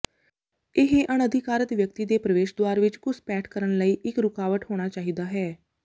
ਇਹ ਅਣਅਧਿਕਾਰਤ ਵਿਅਕਤੀ ਦੇ ਪ੍ਰਵੇਸ਼ ਦੁਆਰ ਵਿੱਚ ਘੁਸਪੈਠ ਕਰਨ ਲਈ ਇੱਕ ਰੁਕਾਵਟ ਹੋਣਾ ਚਾਹੀਦਾ ਹੈ